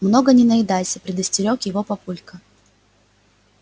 много не наедайся предостерёг его папулька